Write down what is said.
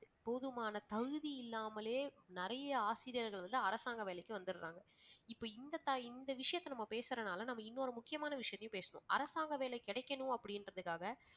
போதுமான தகுதி இல்லாமலே நிறைய ஆசிரியர்கள் வந்து அரசாங்க வேலைக்கு வந்துடறாங்க. இப்ப இந்த த~ இந்த விஷயத்தை நம்ம பேசறதனால நாம இன்னொரு முக்கியமான விஷயத்தையும் பேசணும். அரசாங்க வேலை கிடைக்கனும் அப்படிங்கிறதுக்காக